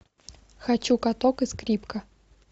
хочу каток и скрипка